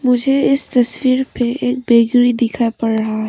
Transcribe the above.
मुझे इस तस्वीर पे एक बेकरी दिखाई पड़ रहा है।